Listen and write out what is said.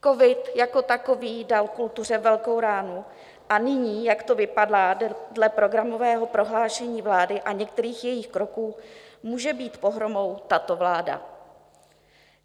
Covid jako takový dal kultuře velkou ránu a nyní, jak to vypadá dle programového prohlášení vlády a některých jejích kroků, může být pohromou tato vláda.